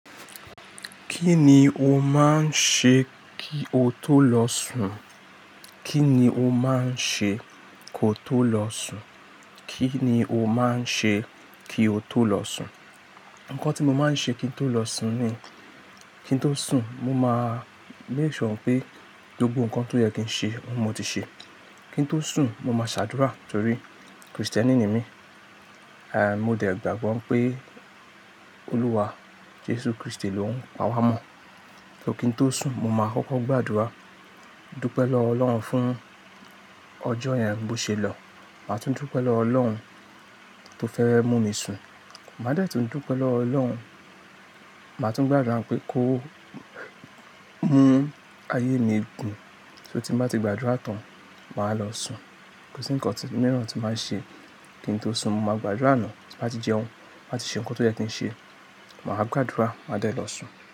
Kí ni o máa ń ṣe kí o tó lọ sùn? Kí ni o máa ń ṣe kó tó lọ sùn? Kí ni o máa ń ṣe kí o tó lọ sùn? Ǹkan tí mo máa ń ṣe kí n tó lọ sùn ni, kí n tó sùn, mo máa make sure pé gbogbo ǹkan tó yẹ kí n ṣe, mo ti ṣe. Kí n tó sùn, mo máa ṣàdúrà torí Kristẹni ni mí. Àì, mo dẹ̀ gbàgbọ́ pé Olúwa Jesu Kristi lòún pá wá mọ́. So kí n tó sùn, mo máa kọ́kọ́ gbàdúrà, dúpẹ́ lọ́ Ọlọ́run fún ọjọ́ yẹn bó ṣe lọ. Màá tún dúpẹ́ lọ́ Ọlọ́run tó fẹ́ mú mi sùn. Màá dẹ̀ tún dúpẹ́ lọ́wo Ọlọ́run, màá tún gbàdúrà pé kó mú ayé mi gùn. So tí mbàá ti gbàdúrà tán, màá lọ sùn. Kò sí ǹkan míràn tí màá ṣe. Kí n tó sùn mo máa gbàdúrà àná, tí màá ti jẹun, màá ti ṣe ǹkan tó yẹ kí n ṣe, màá gbàdúrà, màá dẹ̀ lọ sùn.